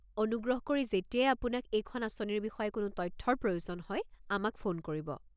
অনুগ্ৰহ কৰি যেতিয়াই আপোনাক এইখন আঁচনিৰ বিষয়ে কোনো তথ্যৰ প্ৰয়োজন হয় আমাক ফোন কৰিব।